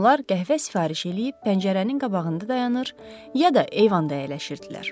Onlar qəhvə sifariş eləyib pəncərənin qabağında dayanır, ya da eyvanda əyləşirdilər.